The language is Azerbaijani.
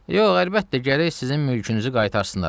Yox, əlbəttə, gərək sizin mülkünüzü qaytarsınlar.